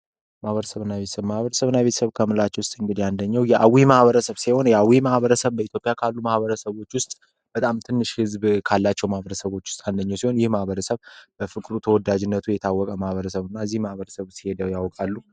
ማበረ ሰብና ቤተሰብ ማህበረሰብና ቤተሰብ ከምንላቸው መካከል እንግዲህ አንዱ የአዊ ማህበረሰብ ሲሆን የአዊ ማህበረሰብ በጣም ትንሽ ህዝብ ካላቸው ማህበረሰቦች ውስጥ አንደኛው ሲሆን ይህ ማህበረሰብ በፍቅሩ በተወዳጅነቱ የታወቀ ማህበረሰብ እንደሆነ ያውቃሉ?